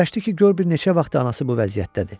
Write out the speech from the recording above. Fikirləşdi ki, gör bir neçə vaxtdır anası bu vəziyyətdədir.